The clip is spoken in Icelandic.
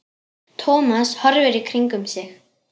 Thomas horfði í kringum sig.